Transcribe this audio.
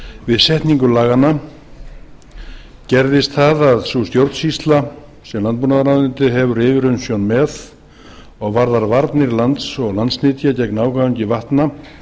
við setningu laganna gerðist það að sú stjórnsýsla sem landbúnaðarráðuneytið hefur yfirumsjón með og varðar varnir lands og landsnytja gegn ágangi vatna